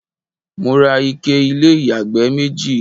mo ra ike ilé ìyàgbẹ́ méjì